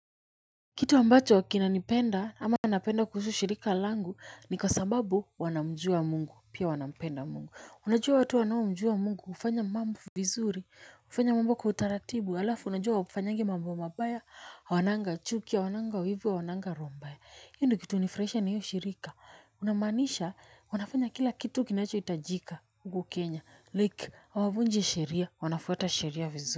Kitu ambacho kinanipenda ama anapenda kuhusu shirika langu ni kwa sababu wanamjua Mungu pia wanapenda Mungu unajua watu wanao mjua Mungu ufanya mambo vizuri ufanya mambo kwa utaratibu alafu unajua hawafanyagi mambo mabaya hawananga chuki hawananga wivu hawananga roho mbaya hi ndo kitu unifraisha ni hiyo shirika unamanisha wanafanya kila kitu kinacho itajika huku kenya like hawavunji sheria wanafuata sheria vizuri.